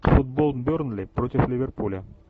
футбол бернли против ливерпуля